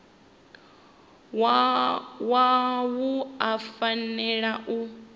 wa wua u fanela u